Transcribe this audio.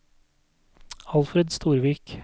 Alfred Storvik